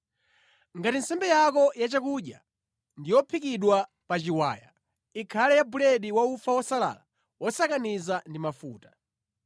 Ngati nsembe yako yachakudya ndi yophikidwa pa chiwaya, ikhale ya buledi wa ufa wosalala wosakaniza ndi mafuta.